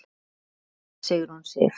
Þín dóttir, Sigrún Sif.